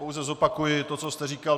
Pouze zopakuji to, co jste říkal.